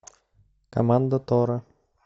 команда тора